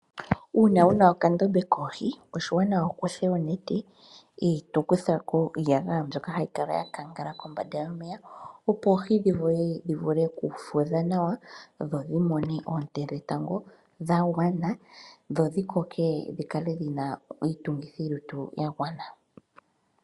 Uuna wu na okandombe koohi oshiwanawa opo wu kuthe onete e to kuthako iiyagaya mbyoka hai kala ya kangala kombanda yomeya, opo oohi dhi vule okufudha nawa dho dhi mone oonte dhetango dha gwana dhodhi koke dhina iitungithi ya gwana